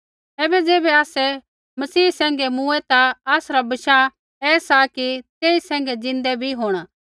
ऐबै ज़ैबै आसै मसीह सैंघै मूँऐ ता आसरा बशाह ऐसा कि तेई सैंघै ज़िन्दै भी होंणा